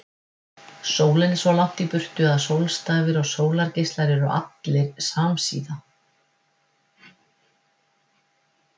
Sólin er svo langt í burtu að sólstafir og sólargeislar eru allir samsíða.